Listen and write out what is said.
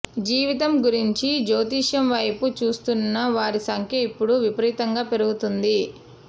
జీవితం గురించి జ్యోతిషం వైపు చూస్తున్న వారి సంఖ్య ఇప్పుడు విపరీతంగా పెరుగుతోంది